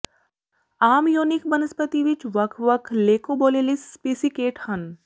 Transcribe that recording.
ਆਮ ਯੋਨਿਕ ਬਨਸਪਤੀ ਵਿੱਚ ਵੱਖ ਵੱਖ ਲੇਕੋਬੋਲੀਲਸ ਸਪੀਸੀਕੇਟ ਹਨ